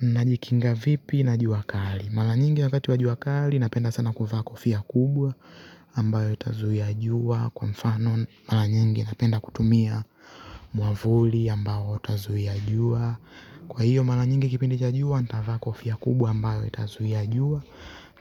Najikinga vipi na jua kali. Mara nyingi wakati wa jua kali napenda sana kuvaa kofia kubwa ambayo itazuia jua. Kwa mfano mara nyingi napenda kutumia mwavuli ambayo itazuia jua. Kwa hiyo mara nyingi kipindi cha jua natavaa kofia kubwa ambayo itazuia jua